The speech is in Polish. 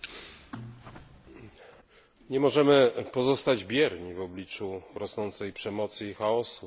Nie możemy pozostać bierni w obliczu rosnącej przemocy i chaosu na tle etnicznym w Iraku.